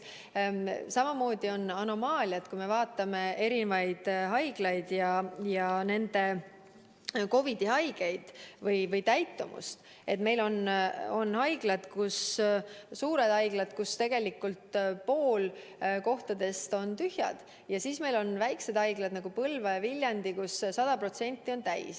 Samamoodi on anomaalia, et kui me vaatame eri haiglaid ja nende COVID-i-haigete arvu ning täitumust, siis meil on suured haiglad, kus tegelikult pool kohtadest on tühjad, ja meil on väikesed haiglad, nagu Põlva ja Viljandi, kus need voodikohad on 100% täis.